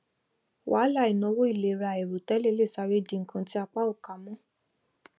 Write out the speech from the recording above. wàhálà ìnáwó ìlera àìròtẹlẹ le sáré di nnkan tí apá ò ká mọ